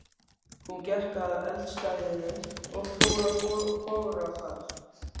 Hún gekk að eldstæðinu og fór að bogra þar.